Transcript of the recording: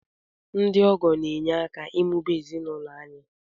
Ndị ọgọ ga-enye aka ịmụba ezinụlọ anyị